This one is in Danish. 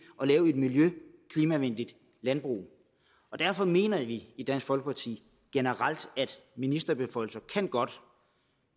at lave et miljø og klimavenligt landbrug derfor mener vi i dansk folkeparti generelt at ministerbeføjelser godt